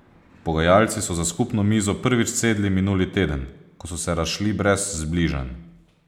Pogajalci so za skupno mizo prvič sedli minuli teden, ko so se razšli brez zbližanj.